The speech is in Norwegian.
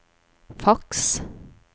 faks